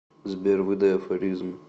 сбер выдай афоризм